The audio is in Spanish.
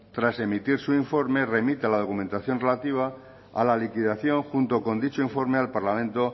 tras emitir su informe remita la documentación relativa a la liquidación junto con dicho informe al parlamento